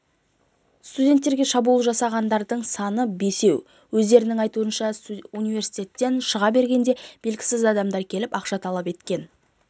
студенттерге шабуыл жасағандардың саны бесеу өздерінің айтуынша университеттен шыға бергенде белгісіз адамдар келіп ақша талап еткен